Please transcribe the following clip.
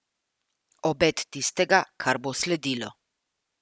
Obet tistega, kar bo sledilo.